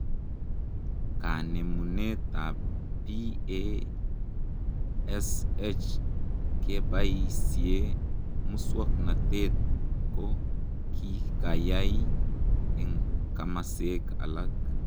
Kanemunet ap PASH kebaisiek muswoknotet ko kikayai eng komaseek alaak